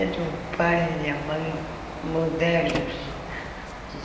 Era um pai e a mãe modernos.